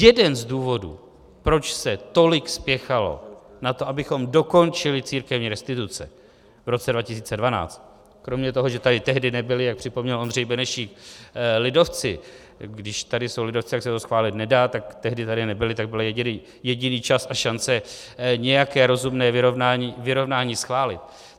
Jeden z důvodů, proč se tolik spěchalo na to, abychom dokončili církevní restituce v roce 2012, kromě toho, že tady tehdy nebyli, jak připomněl Ondřej Benešík, lidovci - když tady jsou lidovci, tak se to schválit nedá, tak tehdy tady nebyli, tak byl jediný čas a šance nějaké rozumné vyrovnání schválit.